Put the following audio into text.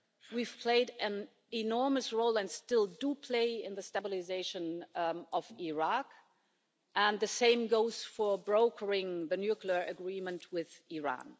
We've played an enormous role and still do play in the stabilisation of Iraq, and the same goes for brokering the nuclear agreement with Iran.